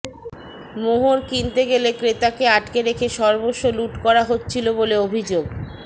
মোহর কিনতে গেলে ক্রেতাকে আটকে রেখে সর্বস্ব লুঠ করা হচ্ছিল বলে ্অভিযোগ